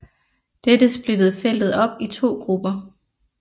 Dette splittede feltet op i to grupper